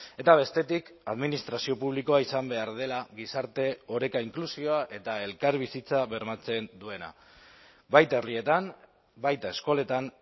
eta bestetik administrazio publikoa izan behar dela gizarte oreka inklusioa eta elkarbizitza bermatzen duena baita herrietan baita eskoletan